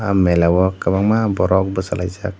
mela o kwchangma borok bwchalaijak.